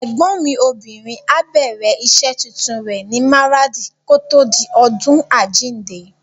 Ẹ̀gbọ́n mi obìnrin á bẹ̀rẹ̀ rẹ̀ iṣẹ́ tuntun ní Maradi kòtò di ọdún àjíǹde.